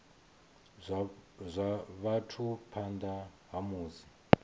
zwa vhathu phanḓa ha musi